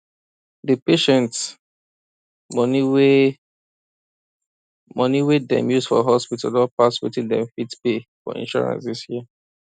di patient money wey money wey dem use for hospital don pass wetin dem fit pay for insurance dis year